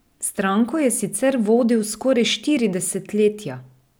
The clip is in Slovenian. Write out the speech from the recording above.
Stranko je sicer vodil skoraj štiri desetletja.